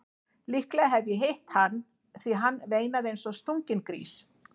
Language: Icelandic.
Líklega hef ég hitt hann því hann veinaði eins og stunginn grís.